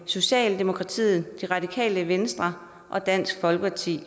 socialdemokratiet det radikale venstre og dansk folkeparti